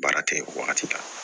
Baara tɛ wagati la